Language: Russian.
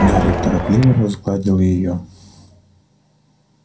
гарри торопливо разгладил её